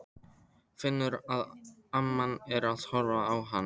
Finnur að amman er að horfa á hann.